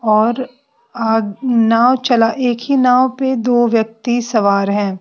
और आ नाव चला एक ही नाव पे दो व्यक्ति सवार हैं।